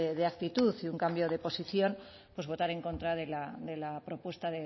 de actitud y un cambio de posición pues votar en contra de la propuesta